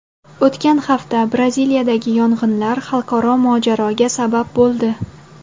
O‘tgan hafta Braziliyadagi yong‘inlar xalqaro mojaroga sabab bo‘ldi.